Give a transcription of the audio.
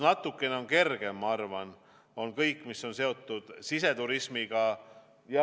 Natukene kergem, ma arvan, on kõik, mis on seotud siseturismiga.